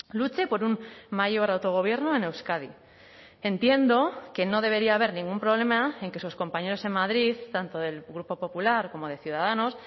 luche por un mayor autogobierno en euskadi entiendo que no debería haber ningún problema en que sus compañeros en madrid tanto del grupo popular como de ciudadanos